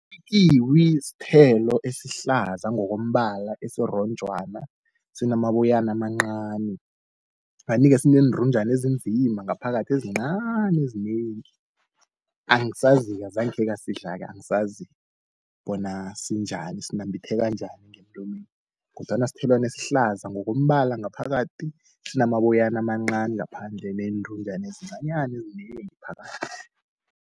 Ikiwi sithelo esihlaza ngokombala esironjwana, sinamaboyana amancani. Kanti-ke sineentunjana ezinzima ngaphakathi ezincani ezinengi. Angisazi-ke azange khengasidla-ke, angisazi bona sinjani, sinambitheka njani ngemlomeni. Kodwana sithelwana esihlaza ngokombala ngaphakathi, sinamaboyana amancani ngaphandle, neentunjana ezincanyana ezinengi phakathi.